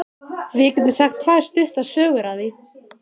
Við getum sagt tvær stuttar sögur af því.